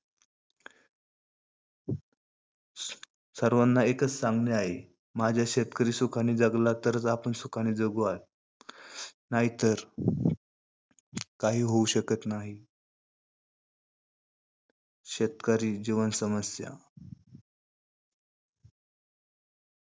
सर्वांना एकच सांगणे आहे. माझा शेतकरी सुखाने जगला, तरचं आपण सुखाने जगू आहे. नाहीतर , काही होऊ शकत नाही. शेतकरी जीवन समस्या.